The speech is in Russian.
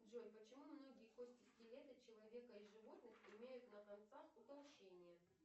джой почему многие кости скелета человека и животных имеют на концах утолщение